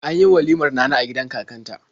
An yi walimar Nana a gidan kakanta.